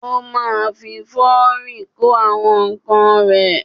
Ó ma fi lọ́rì kó àwọn ǹkan rẹ̀.